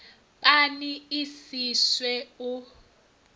pani i si swe u